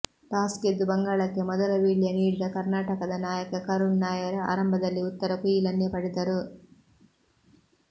toss ಗೆದ್ದು ಬಂಗಾಳಕ್ಕೆ ಮೊದಲ ವೀಳ್ಯ ನೀಡಿದ ಕರ್ನಾಟಕದ ನಾಯಕ ಕರುಣ್ ನಾಯರ್ ಆರಂಭದಲ್ಲಿ ಉತ್ತರ ಕುಯಿಲನ್ನೇ ಪಡೆದರು